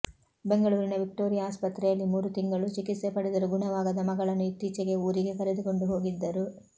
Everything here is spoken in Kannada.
ಬೆಂಗಳೂರಿನ ವಿಕ್ಟೋರಿಯಾ ಆಸ್ಪತ್ರೆಯಲ್ಲಿ ಮೂರು ತಿಂಗಳು ಚಿಕಿತ್ಸೆ ಪಡೆದರೂ ಗುಣವಾಗದ ಮಗಳನ್ನು ಇತ್ತೀಚೆಗೆ ಊರಿಗೆ ಕರೆದುಕೊಂಡು ಹೋಗಿದ್ದರು